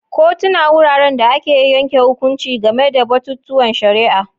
Kotuna wuraren da ake yanke hukunci game da batutuwan shari'a.